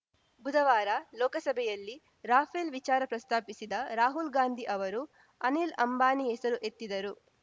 ಬುಧವಾರ ಲೋಕಸಭೆಯಲ್ಲಿ ರಾಫೇಲ್‌ ವಿಚಾರ ಪ್ರಸ್ತಾಪಿಸಿದ್ದ ರಾಹುಲ್‌ ಗಾಂಧಿ ಅವರು ಅನಿಲ್‌ ಅಂಬಾನಿ ಹೆಸರು ಎತ್ತಿದರು